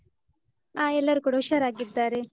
ಹಾ ಎಲ್ಲರೂ ಕೂಡ ಹುಷಾರಾಗಿದ್ದಾರೆ. ಮತ್ತೇ ಏನ್.